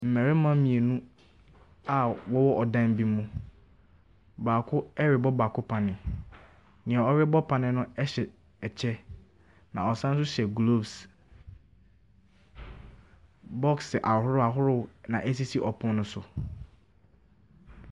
Mmarima mmienu a wɔwɔ dan bi mu. Baako rebɔ baako oanneɛ. Nea ɔrebɔ panneɛ no hyɛ kyɛ na ɔsan nso hyɛ gloves. Box ahoroɔ ahoroɔ na ɛsisi pono no so.